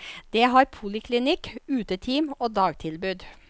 Det har poliklinikk, uteteam og dagtilbud.